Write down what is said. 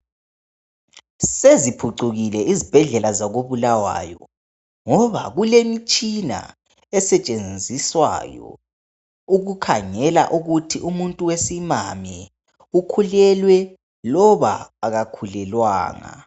Seziphucukile izibhedlela zako Bulawayo ngoba kulemitshina esetshenziswayo ukukhangela ukuthi umuntu wesimami ukhulelwe loba akakhulelwanga.